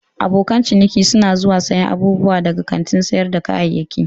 Abokan ciniki suna zuwa siyan abubuwa daga kantin sayar da kayayyaki.